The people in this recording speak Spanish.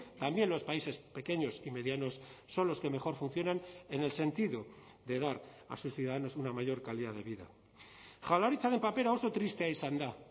también los países pequeños y medianos son los que mejor funcionan en el sentido de dar a sus ciudadanos una mayor calidad de vida jaurlaritzaren papera oso tristea izan da